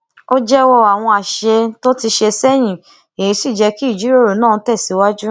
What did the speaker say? ó jéwó àwọn àṣìṣe tó ti ṣe séyìn èyí sì jé kí ìjíròrò náà tèsíwájú